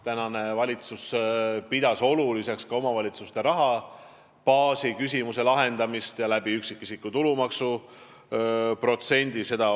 Praegune valitsus on pidanud oluliseks omavalitsuste rahabaasi küsimuse lahendamist ka üksikisiku tulumaksu protsendi kasvu kaudu.